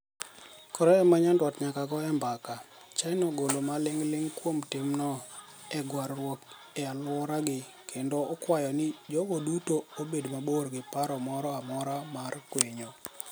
Korea ma nyandwat nyaka goe mbaka. China ogolo maling' ling' kuom timno e gwar ruok e aluoragi kendo okwayo ni jogo duto obed mabor gi paro moro amora mar kwinyo.